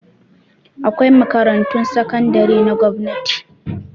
Akwai makarantun sakandare na gwamnati